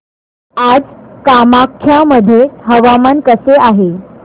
आज कामाख्या मध्ये हवामान कसे आहे